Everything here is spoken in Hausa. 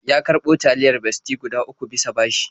Ya karɓo taliyar Bestie guda uku bisa bashi.